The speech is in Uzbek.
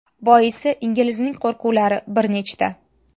Boisi inglizning qo‘rquvlar bir nechta.